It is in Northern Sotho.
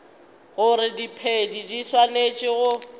gore diphedi di swanetše go